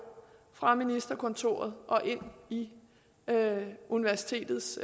fra ministerkontoret og ind i universitetets